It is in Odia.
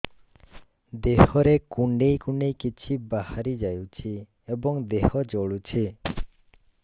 ଦେହରେ କୁଣ୍ଡେଇ କୁଣ୍ଡେଇ କିଛି ବାହାରି ଯାଉଛି ଏବଂ ଦେହ ଜଳୁଛି